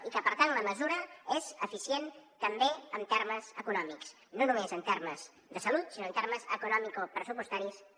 i que per tant la mesura és eficient també en termes econòmics no només en termes de salut sinó en termes econòmics i pressupostaris també